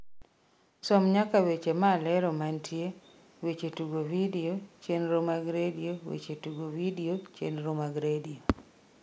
som nyaka weche malero mantie weche tugo vidio chenro mag redio weche tugo vidio chenro mag redio